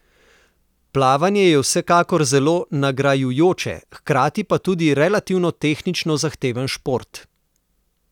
Plavanje je vsekakor zelo nagrajujoč, hkrati pa tudi relativno tehnično zahteven šport.